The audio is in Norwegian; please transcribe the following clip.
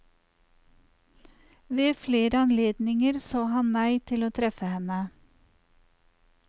Ved flere anledninger sa han nei til å treffe henne.